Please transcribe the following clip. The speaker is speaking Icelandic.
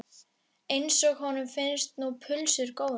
Eins og honum finnst nú pulsur góðar.